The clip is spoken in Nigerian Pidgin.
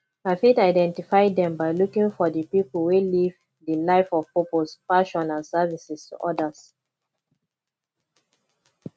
i fit identify dem by looking for di people wey live di life of purpose passion and services to odas